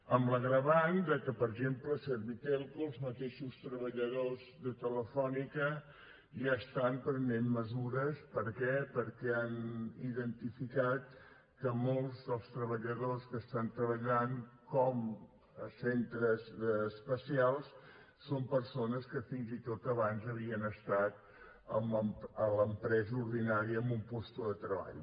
amb l’agreujant de que per exemple servitelco els mateixos treballadors de telefónica ja estan prenent mesures per què perquè han identificat que molts dels treballadors que estan treballant com centres especials són persones que fins i tot abans havien estat en l’empresa ordinària en un lloc de treball